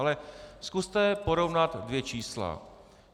Ale zkuste porovnat dvě čísla.